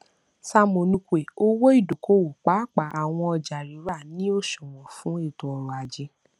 sam onukwe owó ìdókòówò pàápàá àwọn ọjà rírà ni òṣùwọn fún ètòọrọajé